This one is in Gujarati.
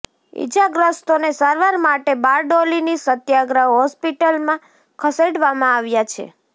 ઇજાગ્રસ્તોને સારવાર માટે બારડોલીની સત્યાગ્રહ હોસ્પીટલમાં ખસેડવામાં આવ્યા છે